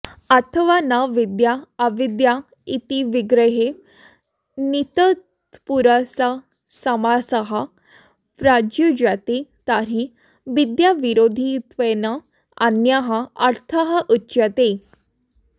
अथवा न विद्या अविद्या इति विग्रहे नञतत्पुरुषसमासः प्रयुज्यते तर्हि विद्याविरोधित्वेन अन्यः अर्थः उच्यते